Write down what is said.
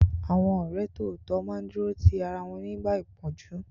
Àwọn ọ̀rẹ́ tòótọ́ máa ń dúró ti ara wọn nígbà ìpọ́njú